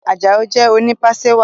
Ajao jé oni pàṣẹwàá